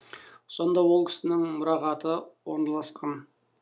сонда ол кісінің мұрағаты орналасқан